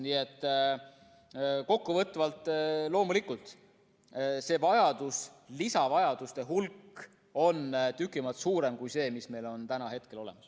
Nii et kokkuvõtvalt: loomulikult see lisavajaduste hulk on tüki maad suurem kui see, mis meil on täna olemas.